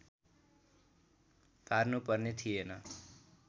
पार्नुपर्ने थिएन